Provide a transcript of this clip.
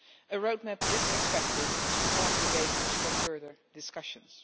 A roadmap is expected to form the basis for further discussions.